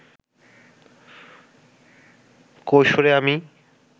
কৈশোরে আমি